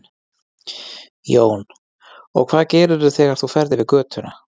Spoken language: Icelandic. Jón: Og hvað gerirðu þegar þú ferð yfir götuna?